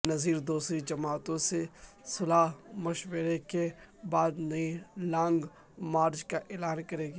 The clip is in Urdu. بینظیر دوسری جماعتوں سے صلاح مشورے کے بعد نئی لانگ مارچ کا اعلان کریں گی